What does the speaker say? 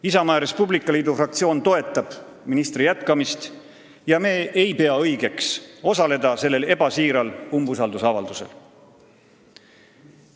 Isamaa ja Res Publica Liidu fraktsioon toetab ministri jätkamist ja me ei pea õigeks osaleda sellel ebasiiral umbusalduse avaldamisel.